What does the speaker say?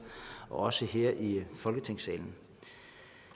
også her i folketingsalen